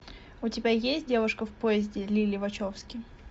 у тебя есть девушка в поезде лили вачовски